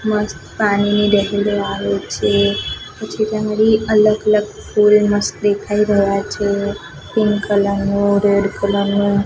મસ્ત પાણીની આવે છે પછી ત્યાં અગાડી અલગ અલગ ફોરેનર્સ દેખાય રહ્યા છે પિન્ક કલર નું રેડ કલર નું--